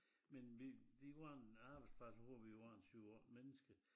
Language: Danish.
Men vi det var en arbejdsplads hvor vi var en 7 8 mennesker